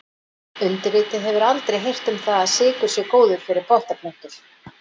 Undirrituð hefur aldrei heyrt um það að sykur sé góður fyrir pottaplöntur.